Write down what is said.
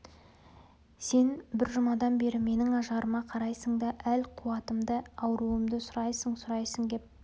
сен бір жұмадан бері менің ажарыма қарайсың да әл-қуатымды ауруымды сұрайсың-сұрайсың кеп